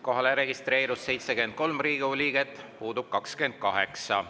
Kohalolijaks registreerus 73 Riigikogu liiget, puudub 28.